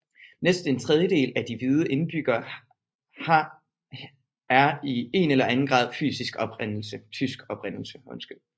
Næsten en tredjedel af de hvide indbyggere har er i en eller grad af tysk oprindelse